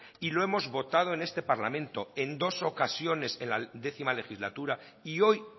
y lo hemos votado en este parlamento en dos ocasiones en la décima legislatura y hoy